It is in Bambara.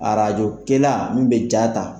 Arajokɛla min bɛ ja ta